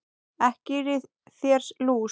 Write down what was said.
Ekki er í þér lús